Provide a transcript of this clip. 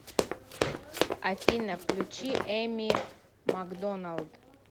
афина включи эми макдоналд